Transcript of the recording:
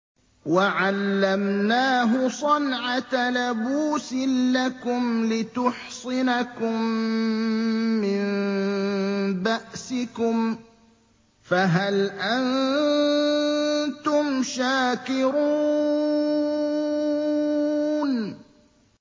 وَعَلَّمْنَاهُ صَنْعَةَ لَبُوسٍ لَّكُمْ لِتُحْصِنَكُم مِّن بَأْسِكُمْ ۖ فَهَلْ أَنتُمْ شَاكِرُونَ